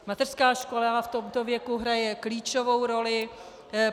Mateřská škola v tomto věku hraje klíčovou roli.